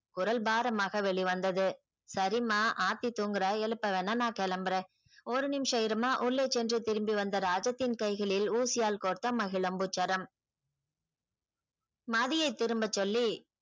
குரல் பாரமாக வெளிவந்தது சரிம்மா ஆர்த்தி தூங்குறா எழுப்பவேணா நான் கிளம்புறன் ஒரு நிமிஷம் இரும்மா உள்ளே சென்று திரும்பி வந்த ராஜத்தின் கைகளில் ஊசியால் கோர்த்த மகிழம்பூச்சரம் மதியை திரும்ப சொல்லி